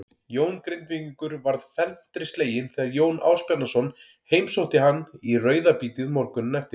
Jón Grindvíkingur varð felmtri sleginn þegar Jón Ásbjarnarson heimsótti hann í rauðabítið morguninn eftir.